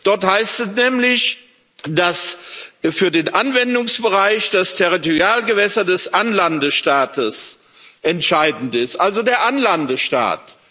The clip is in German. Dort heißt es nämlich, dass für den Anwendungsbereich das Territorialgewässer des Anlandestaates entscheidend ist, also der Anlandestaat.